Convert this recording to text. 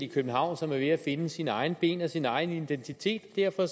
i københavn som er ved at finde sine egne ben og sin egen identitet og derfor